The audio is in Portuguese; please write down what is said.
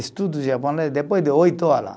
Estudo japonês depois de oito hora.